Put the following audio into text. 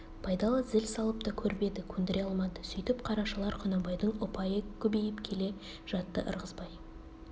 байдалы зіл салып та көріп еді көндіре алмады сүйтіп қарашалар құнанбайдың ұпайы көбейіп келе жатты ырғызбай